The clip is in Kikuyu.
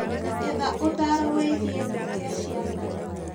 Etha ũtaaro wĩgiĩ kũgĩa ciana